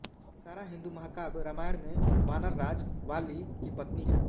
तारा हिन्दू महाकाव्य रामायण में वानरराज वालि की पत्नी है